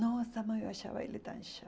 Nossa, mãe, eu achava ele tão